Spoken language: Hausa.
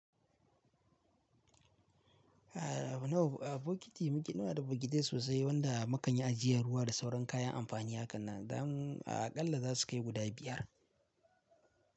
A nawa a bokiti muke nawa da bokiti sosai wanda makanyi ajiyan ruwa da sauran kayan amfani hakan nan, dan aƙalla za su kai guda biyar.